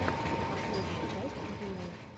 последняя часть юни